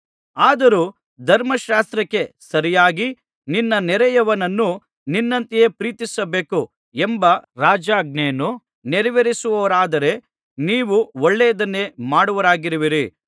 ಆದರೂ ಧರ್ಮಶಾಸ್ತ್ರಕ್ಕೆ ಸರಿಯಾಗಿ ನಿನ್ನ ನೆರೆಯವನನ್ನು ನಿನ್ನಂತೆಯೇ ಪ್ರೀತಿಸಬೇಕು ಎಂಬ ರಾಜಾಜ್ಞೆಯನ್ನು ನೆರವೇರಿಸುವವರಾದರೆ ನೀವು ಒಳ್ಳೆಯದನ್ನೇ ಮಾಡುವವರಾಗಿರುವಿರಿ